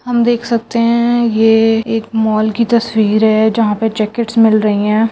हम देख सकते हैं ये एक मॉल की तस्वीर है जहां पे जैकेट्स मिल रही हैं।